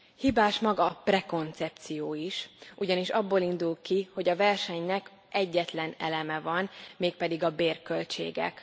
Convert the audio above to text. Hibás maga a prekoncepció is, ugyanis abból indul ki, hogy a versenynek egyetlen eleme van, mégpedig a bérköltségek.